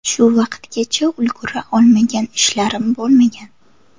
Shu vaqtgacha ulgura olmagan ishlarim bo‘lmagan.